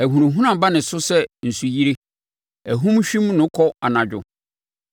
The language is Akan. Ahunahuna ba ne so sɛ nsuyire; ahum hwim no kɔ anadwo.